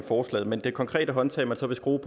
forslaget men det konkrete håndtag man så vil bruge